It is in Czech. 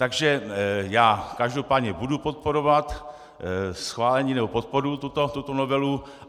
Takže já každopádně budu podporovat schválení nebo podporuji tuto novelu.